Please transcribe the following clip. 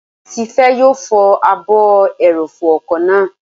Tifẹ́ yóò fọ ààbò ẹrọ̀fọ̀ ọkọ̀ náà